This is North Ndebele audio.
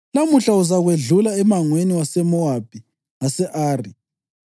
‘Lamuhla uzakwedlula emangweni waseMowabi ngase-Ari.